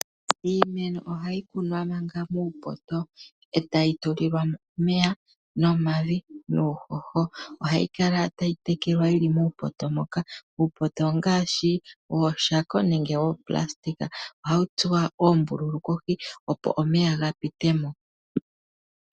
Iimeno oha yi kunwa manga muupoto, e ta yi tulilwa mo omeya numavi, nuuhoho. Oha yi kala ta yi tekelwa yi li muupoto moka. Uupoto ongaashi, ooshako nenge oopulastika. Oha wu tsuwa oombululu kohi, opo omeya ga pite mo.